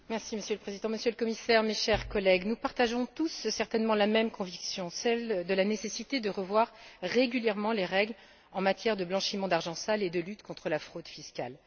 Monsieur le Président, Monsieur le Commissaire, chers collègues, nous partageons tous certainement la même conviction celle de la nécessité de revoir régulièrement les règles en matière de blanchiment d'argent sale et de lutte contre la fraude fiscale.